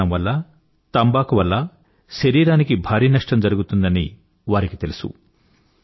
ధూమపానం వల్ల తంబాకు వల్ల శరీరానికి భారీ నష్టం జరుగుతుందని వారికి తెలుసు